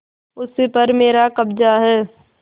उस पर मेरा कब्जा है